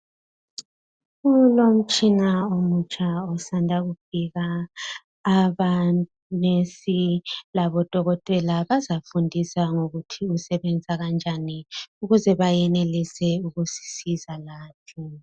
Kulomtshina omutsha osanda kufika. Abantu abangonesi labodokotela bazafundiswa ngokuthi usebenza kanjani ukuze bayenelise ukusisiza lathi.